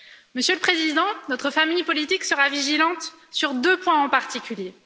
Monsieur le Président, notre famille politique sera vigilante sur deux points en particulier.